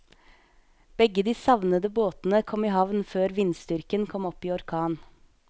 Begge de savnede båtene kom i havn før vindstyrken kom opp i orkan.